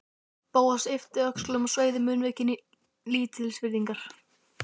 Bóas yppti öxlum og sveigði munnvikin í lítilsvirðingar